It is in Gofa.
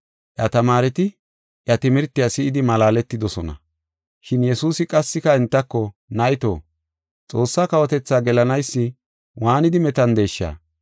Iya tamaareti iya timirtiya si7idi malaaletidosona. Shin Yesuusi qassika entako, “Nayto, Xoossaa kawotethaa gelanaysi waanidi metandeesha!